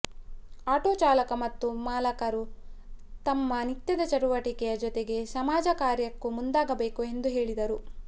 auto ಚಾಲಕ ಮತ್ತು ಮಾಲಕರು ತಮ್ಮ ನಿತ್ಯದ ಚಟುವಟಿಕೆಯ ಜೊತೆಗೆ ಸಮಾಜ ಕಾರ್ಯಕ್ಕೂ ಮುಂದಾಗಬೇಕು ಎಂದು ಹೇಳಿದರು